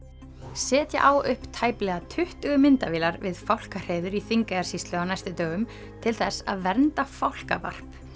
setja á upp tæplega tuttugu myndavélar við fálkahreiður í Þingeyjarsýslu á næstu dögum til þess að vernda fálkavarp